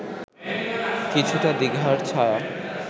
কিছুটা দ্বিধার ছায়া